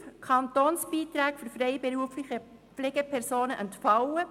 Kantonsbeiträge für freiberufliche Pflegepersonen entfallen.